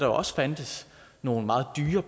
også fandtes nogle meget dyre